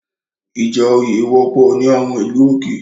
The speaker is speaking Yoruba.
Ìjà òye wọ́pọ̀ ní àwọn ìlú òkè